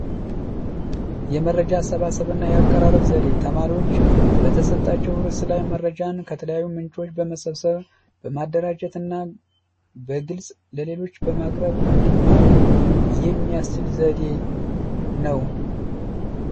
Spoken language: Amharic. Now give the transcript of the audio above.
የመረጃ አሰብሳብ እና የአቀራረብ ዘዴ ተማሪዎች በተሰጣቸው ረዕስ ላይ መረጃን ከተለያዩ ምንጮች በመሰብሰብ በማደራጀትና በግልፅ ለሌሎች በማቅረብ እንዲማሩ የሚያስችል ዘዴ ነው።